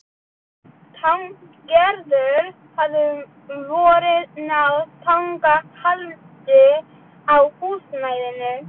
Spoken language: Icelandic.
Gerður hafði um vorið náð tangarhaldi á húsnæðinu.